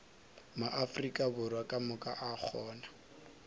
maafrika borwa kamoka a kgona